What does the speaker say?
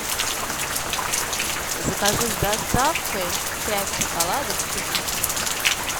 закажи с доставкой пять шоколадок твикс